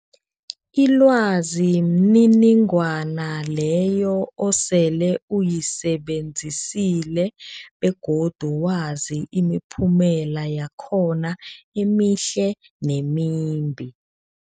Ilwazi mniningwana leyo osele uyisebenzisile begodu wazi imiphumela yakhona emihle nemimbi.